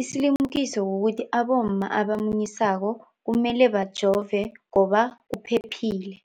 Isilimukiso kukuthi abomma abamunyisako kumele bajove ngoba kuphephile.